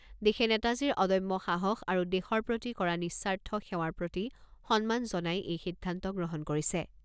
দেশে নেতাজীৰ অদম্য সাহস আৰু দেশৰ প্ৰতি কৰা নিঃস্বাৰ্থ সেৱাৰ প্ৰতি সন্মান জনাই এই সিদ্ধান্ত গ্ৰহণ কৰিছে।